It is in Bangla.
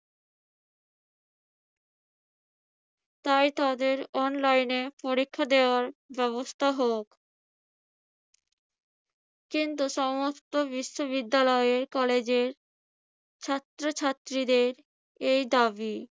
তাই তাদের online এ পরীক্ষা দেওয়ার ব্যবস্থা হোক। কিন্তু সমস্ত বিশ্ববিদ্যালয়ে কলেজে ছাত্রছাত্রীদের এই দাবি.